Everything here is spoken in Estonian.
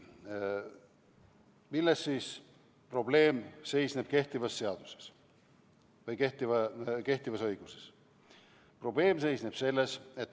Milles seisneb kehtiva õiguse probleem?